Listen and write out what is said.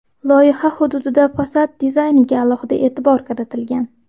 Loyiha hududida fasad dizayniga alohida e’tibor qaratilgan.